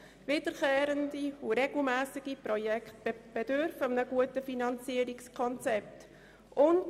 Wiederkehrende und regelmässige Projekte bedürfen eines guten Finanzierungskonzepts.